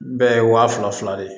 Bɛɛ ye wa fila fila de ye